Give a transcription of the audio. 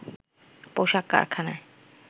পোশাক কারখানায়